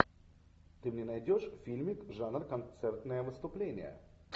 ты мне найдешь фильмик жанр концертное выступление